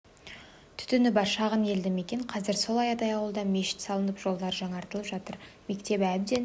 түтіні бар шағын елді мекен қазір сол аядай ауылда мешіт салынып жолдары жаңарып жатыр мектебі әбден